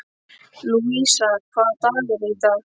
Lúísa, hvaða dagur er í dag?